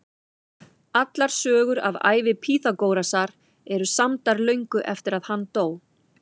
Allar sögur af ævi Pýþagórasar eru samdar löngu eftir að hann dó.